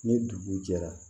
Ni dugu jɛra